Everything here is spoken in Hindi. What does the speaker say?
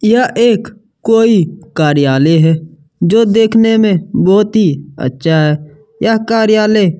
यह कोई एक कार्यालय है जो देखने में बहुत ही अच्छा है यह कार्यालय--